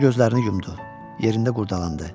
Sonra gözlərini yumdu, yerində qurdalandı.